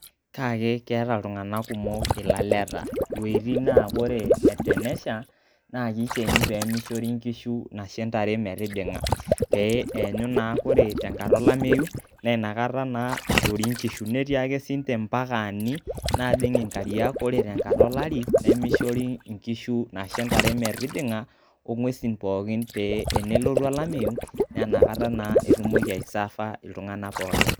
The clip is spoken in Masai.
keeta iltung'anak kumok ilaleta, iwuoitin naa kore tenesha naake ikeni pee mishori inkishu anashe ntare metijing'a pee eyanyu naa ore tenkata olameyu nee inakata naa ishori inkishu. Netii ake siinje impakaani naajing' inkariak, kore tenkata olari nemishori inkishu anashe ntare metijing'a o nguesi pookin pee enelotu olameyu naa inakata naa etumoki aiserva iltung'anak pookin.